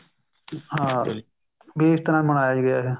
ਹਾਂ ਵੀ ਇਸ ਤਰ੍ਹਾਂ ਮਨਾਇਆ ਗਿਆ ਹੈ